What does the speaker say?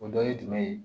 O dɔ ye jumɛn ye